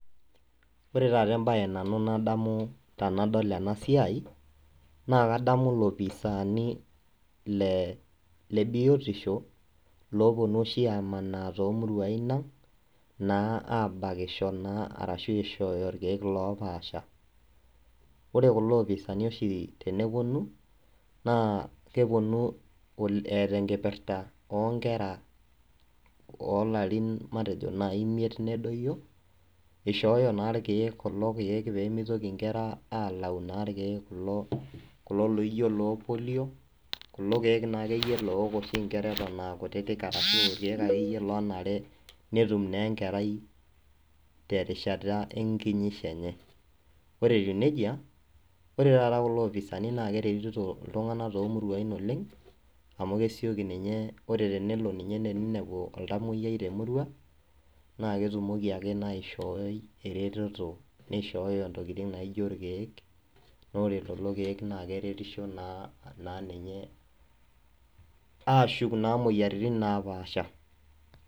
Ore embae nadamu tenadol ena siai naa loopisaani le biotisho looonunoshi aamanaa toomurua aabakisho ashu aishooyo irkeek oopaasha. Ore kulo oopisaani tenepounu naa keponu eeta enkipirta oo larin import nedoyio ishooyo irkeek pee melau nkera irkeek loo {polio} aashu kulo keek loonare neok enkerai tenkata e kinyisho enye. Ore etiu nejia, keretito kulo oopisaani iltunganak too murua oleng amu ore tenelo ninepu oltamuoyiai te murua naa keisho irkeek nerriny imuoyaritin naapasha.